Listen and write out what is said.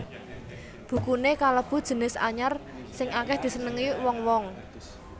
Bukuné kalebu jinis anyar sing akèh disenengi wong wong